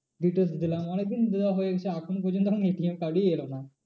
Details দিলাম অনেক দিন দেওয়া হয়েছে এখনো পর্যন্ত এখনো ATM card ই এলো না।